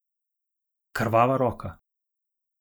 Krvava roka.